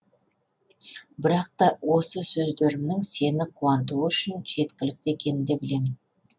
бірақ та осы сөздерімнің сені қуантуы үшін жеткілікті екенін де білемін